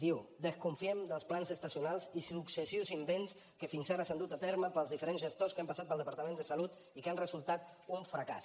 diu desconfiem dels plans estacionals i successius invents que fins ara s’han dut a terme pels diferents gestors que han passat pel departament de salut i que han resultat un fracàs